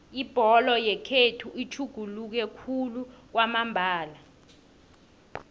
ibholo yekhethu itjhuguluke khulu kwamambala